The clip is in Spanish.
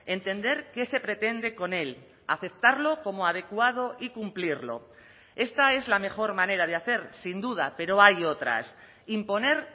entender qué se pretende con él aceptarlo como adecuado y cumplirlo esta es la mejor manera de hacer sin duda pero hay otras imponer